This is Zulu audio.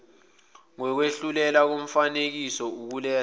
ngokwehlulela komfakisicelo ukuletha